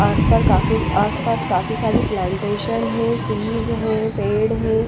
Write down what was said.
आस पार काफी आस पास काफी सारी प्लांटेशन है फ्रीज है पेड़ है।